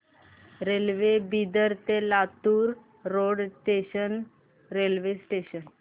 railway Bidar ते Latur road junction railway station